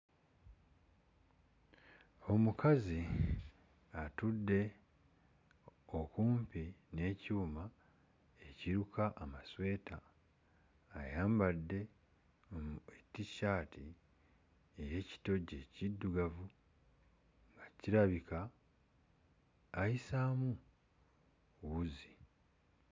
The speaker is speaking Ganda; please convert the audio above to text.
Omukazi atudde okumpi n'ekyuma ekiruka amasweta, ayambadde T-shirt ey'ekitogi ekiddugavu nga kirabika ayisaamu wuzi,